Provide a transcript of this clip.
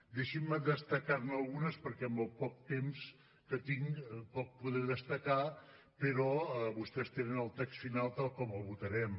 deixin me destacar ne algunes perquè amb el poc temps que tinc poc podré destacar però vostès tenen el text final tal com el votarem